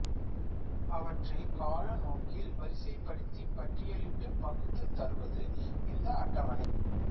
அவற்றைக் கால நோக்கில் வரிசைப்படுத்திப் பட்டியலிட்டுப் பகுத்துத் தருவது இந்த அட்டவணை